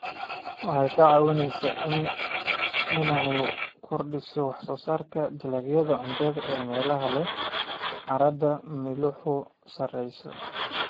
Waxay ka caawisaa inay kordhiso wax soo saarka dalagyada cuntada ee meelaha leh carrada milixdu sareeyso.